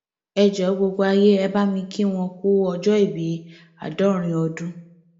ẹ jọọ gbogbo ayé ẹ bá mi kí wọn ku ọjọòbí àádọrin ọdún